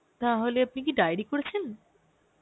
তাহলে আপনি কি diary করেছেন?